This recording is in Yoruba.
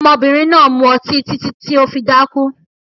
Ọmọbìnrin náà mu ọtí títí tí ó fi dákú